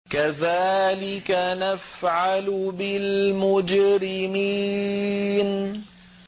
كَذَٰلِكَ نَفْعَلُ بِالْمُجْرِمِينَ